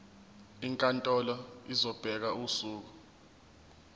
inkantolo izobeka usuku